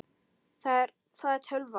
Hvað er tölva?